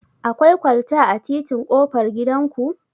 Akwai kwalta a titin ƙofar gidan ku?